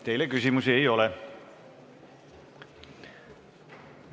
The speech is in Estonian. Teile küsimusi ei ole.